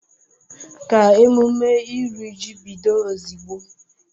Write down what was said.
Ka emume iri ji bido ozugbo!